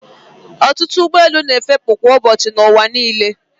Ọtụtụ ụgbọelu na-efepụ kwa ụbọchị n'ụwa niile.